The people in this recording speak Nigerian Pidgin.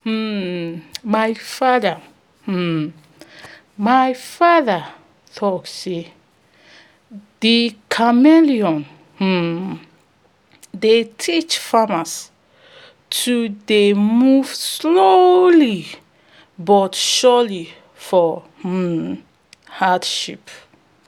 um my father um my father talk say de chameleon um dey teach farmers to dey move slowly but surely for um hardship